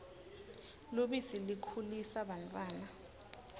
lubisi likhulisa bantfwana